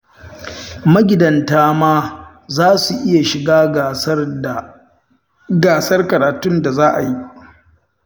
Magidanta ma za su iya shiga gasar karatun da za a yi